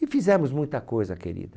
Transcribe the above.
E fizemos muita coisa, querida.